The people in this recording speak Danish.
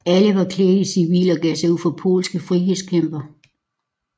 Alle var klædt i civil og gav sig ud for polske frihedskæmpere